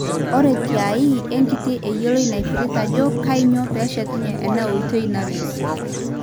Ore tiae, enkiti eyioloi naipirta ajo kainyio peeshetunye ena oitoi nalus.